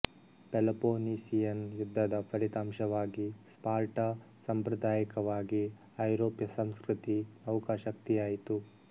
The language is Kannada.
ಪೆಲೊಪೊನೀಸಿಯನ್ ಯುದ್ಧದ ಫಲಿತಾಂಶವಾಗಿ ಸ್ಪಾರ್ಟಾ ಸಾಂಪ್ರದಾಯಿಕವಾಗಿ ಐರೋಪ್ಯ ಸಂಸ್ಕೃತಿ ನೌಕಾಶಕ್ತಿಯಾಯಿತು